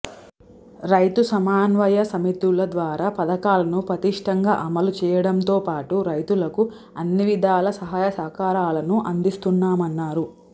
రైతుసమన్వయ సమితుల ద్వారా పథకాలను పటిష్ఠంగా అమలుచేయడంతోపాటు రైతులకు అన్నివిధాల సహాయసహకారాలను అందిస్తున్నామన్నారు